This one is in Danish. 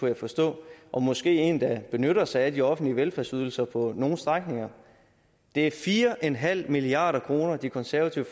jeg forstå og måske en der benytter sig af de offentlige velfærdsydelser på nogle strækninger det er fire en halv milliard kr det konservative